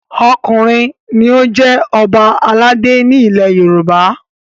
Ọkùnrin ni ó ń jẹ Ọba aládé ni ilẹ̀ Yorùbá!